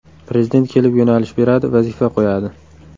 Prezident kelib yo‘nalish beradi, vazifa qo‘yadi.